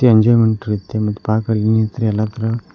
enjoyment ರೀತಿ ಮತ್ತ್ park ಅಲ್ಲಿ ತರ ಎಲ್ಲಾ ತರ --